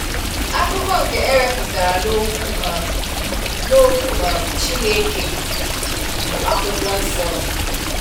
Akụkọ nke ewepụtara n'okwu um n'okwu um Chineke, bu akwụkwọ nsọ.